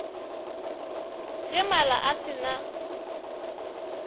ge mala a se na